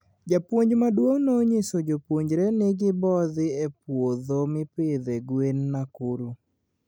Japuonj maduong ninyiso jopuonjre ni gibodhii e puodho mipidho gwen Nakuru